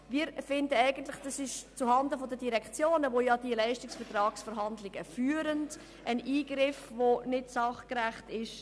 Wir finden, dass es sich gegenüber den Direktionen, die die Leistungsvertragsverhandlungen führen, um einen nicht sachgerechten Eingriff handelt.